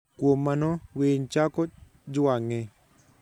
Kuom mano, winy chako jwang'e.